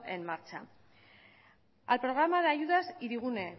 en marcha al programa de ayudas hirigune